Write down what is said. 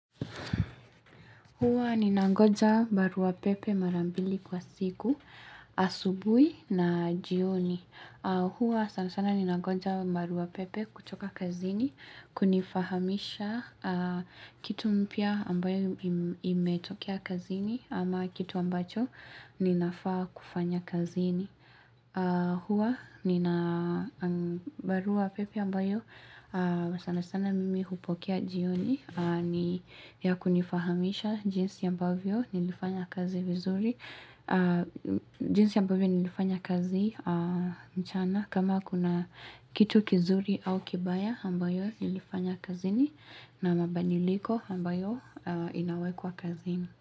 Huwa ni nangoja barua pepe marambili kwa siku, asubuhi na jioni. Huwa sana sana ni nangoja barua pepe kutoka kazini, kunifahamisha kitu mpya ambayo imetokea kazini ama kitu ambacho ninafaa kufanya kazini. Huwa nina barua pepe ambayo sana sana mimi hupokea jioni ni ya kunifahamisha jinsi ambavyo nilifanya kazi vizuri jinsi ambavyo nilifanya kazi mchana kama kuna kitu kizuri au kibaya ambayo nilifanya kazini na mabadiliko ambayo inawekwa kazini.